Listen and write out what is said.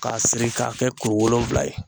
K'a siri k'a kɛ kuru wolonfila ye